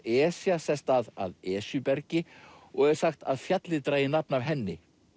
Esja sest að að Esjubergi og er sagt að fjallið dragi nafn af henni